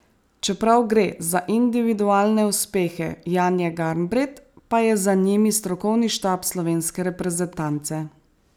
Čeprav gre za individualne uspehe Janje Garnbret, pa je za njimi strokovni štab slovenske reprezentance.